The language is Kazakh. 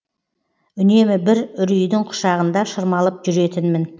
үнемі бір үрейдің құшағында шырмалып жүретінмін